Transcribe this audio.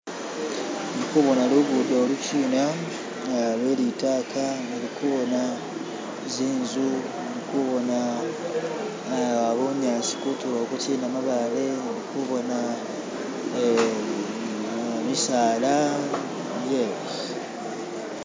Ndikubona lugudo oli kina lwe litaka, ndikubona tsinzu, ndikubona ah bunyasi kutulo oku kina mabaale, ndikuboona misala, ye,